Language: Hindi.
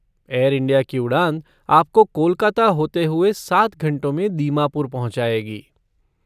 एयर इंडिया की उड़ान आपको कोलकाता होते हुए सात घंटों में दीमापुर पहुँचाएगी।